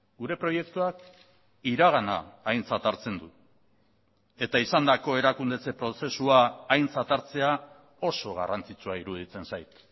gure proiektuak iragana aintzat hartzen du eta izandako erakundetze prozesua aintzat hartzea oso garrantzitsua iruditzen zait